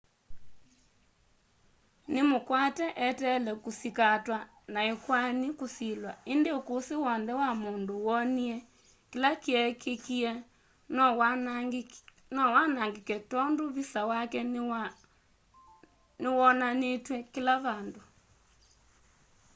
nĩ mũkwate eteele kusikatwa na ĩkwani kusilwa ĩndĩ ũkũsĩ wonthe wa mũndũ wonie kĩla kyekĩkie nowanangĩke tondũ visa wake nĩwonanitw'e kĩla vandũ